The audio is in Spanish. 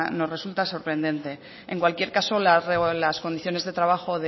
nos resulta sorprendente en cualquier caso las condiciones de trabajo